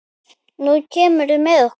Nú kemurðu með okkur